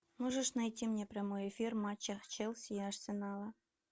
можешь найти мне прямой эфир матча челси и арсенала